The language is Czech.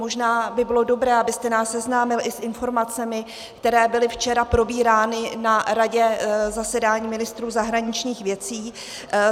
Možná by bylo dobré, abyste nás seznámil i s informacemi, které byly včera probírány na Radě, zasedání ministrů zahraničních věcí.